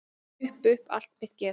Upp upp allt mitt geð.